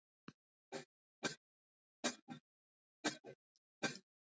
Ragna fær sterkan mótherja í Sviss